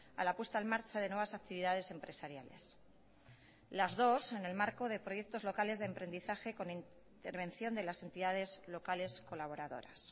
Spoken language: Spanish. a la puesta en marcha de nuevas actividades empresariales las dos en el marco de proyectos locales de emprendizaje con intervención de las entidades locales colaboradoras